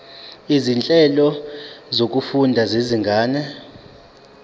izinhlelo zokufunda zezinga